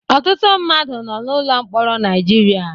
Ọtụtụ mmadụ nọ n'ụlọ mkpọrọ Naịjirịa.